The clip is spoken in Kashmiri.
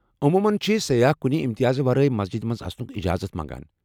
عموٗمن چھِ سیاح کُنہ امتیازٕ ورٲے مسجد منٛز اژنُك اجازت ۔